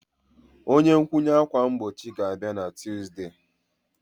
Ihe nkwụnye ákwà mgbochi ga-abịa na Tuzdee.